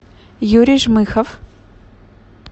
юрий жмыхов